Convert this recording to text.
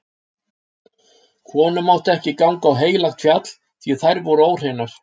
Konur máttu ekki ganga á heilagt fjall, því þær voru óhreinar.